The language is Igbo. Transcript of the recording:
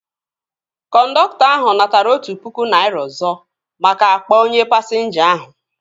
Kọndọktọ ahu natara otụ pụkụ naira ọzọ maka akpa onye pasinja ahu